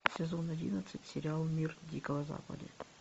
сезон одиннадцать сериал мир дикого запада